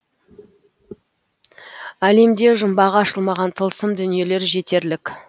әлемде жұмбағы ашылмаған тылсым дүниелер жетерлік